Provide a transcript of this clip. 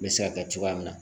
N bɛ se ka kɛ cogoya min na